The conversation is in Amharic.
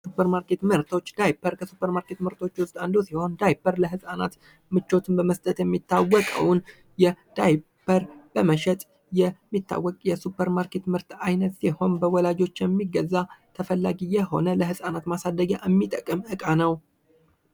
ከሱፑርማርኬት ምርቶች:- ዳይፐር ከሱፐርማርኬት ምርቶች ዉስጥ አንዱ ሲሆን ዳይፐር ለህፃናት ምቾትን በመስጠት የሚታወቀዉን ዳይፐር በመሸጥ የሚታወቀዉን የሱፐርማርኬት ምርት አይነት ሲሆን በወላጆች የሚገዛ ተፈላጊ የሆነ የህፃናት ማሳደጊያ የሚጠቅም እቃ ነዉ።